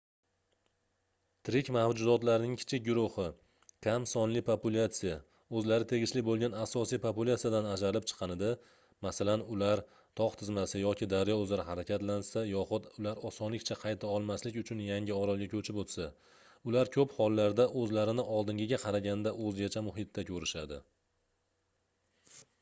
tirik mavjudotlarning kichik guruhi kam sonli populyatsiya o'zlari tegishli bo'lgan asosiy populyatsiyadan ajralib chiqqanida masalan ular tog' tizmasi yoki daryo uzra harakatlansa yoxud ular osonlikcha qayta olmaslik uchun yangi orolga ko'chib o'tsa ular ko'p hollarda o'zlarini oldingiga qaraganda o'zgacha muhitda ko'rishadi